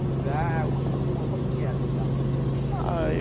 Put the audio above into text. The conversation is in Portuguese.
Um lugar, uma rua, como é que era a cidade? Ah